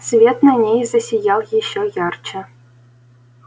свет на ней засиял ещё ярче